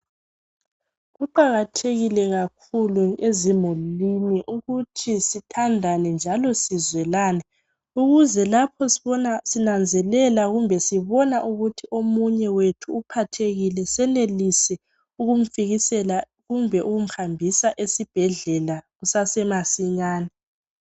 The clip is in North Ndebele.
Kuqakathekile kakhulu ezimulini ukuthi sithandane njalo sizwelane ukuze lapho sibona ,sinanzelela kumbe sibona ukuthi omunye wethu uphathekile senelise ukumfikisela kumbe ukumhambisa esibhedlela kusesemasinyane.